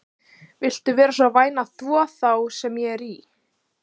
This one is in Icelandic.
Viltu vera svo væn að þvo þá sem ég er í?